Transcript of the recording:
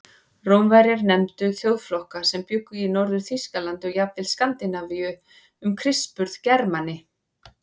Rómverjar nefndu þjóðflokka sem bjuggu í Norður-Þýskalandi og jafnvel Skandinavíu um Krists burð Germani.